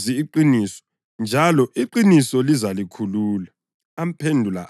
Ngakho lizalazi iqiniso, njalo iqiniso lizalikhulula.”